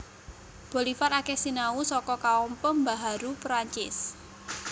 Bolivar akeh sinau saka kaum pembaharu Perancis